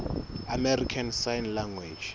american sign language